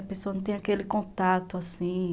A pessoa não tem aquele contato assim.